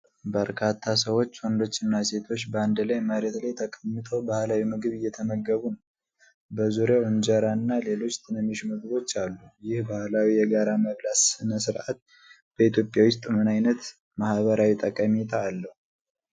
በርካታ ሰዎች ወንዶችና ሴቶች በአንድ ላይ መሬት ላይ ተቀምጠው ባህላዊ ምግብ እየተመገቡ ነው። በዙሪያው እንጀራና ሌሎች ትናንሽ ምግቦች አሉ። ይህ ባህላዊ የጋራ መብላት ሥነ ሥርዓት በኢትዮጵያ ውስጥ ምን ዓይነት ማህበራዊ ጠቀሜታ አለው?